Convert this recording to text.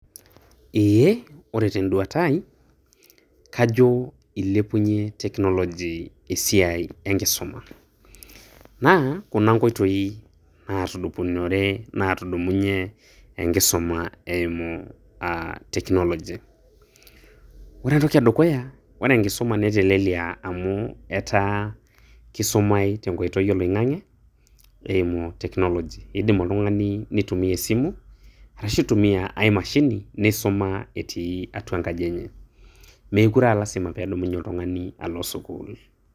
Eeh, ore tenduata ai kajo eilepunye Technology esiai enkisoma, naa kuna nkoitoi naatudupunore naatudumunye enkisoma eimu aah Technology. Ore entoki edukuya, ore enkisoma neteleleyia amu etaa keisumai tenkoitoi oloing'ang'e eimu Technology, eidim oltung'ani neitumiyia esimu, arashu eitumiyia ai mashini, neisuma etii atua enkaji enye. Meekure aa lasima peedumunye oltung'ani alo sukuul.